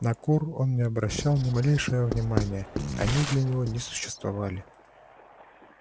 на кур он не обращал ни малейшее внимания они для него не существовали